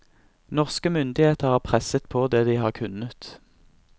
Norske myndigheter har presset på det de har kunnet.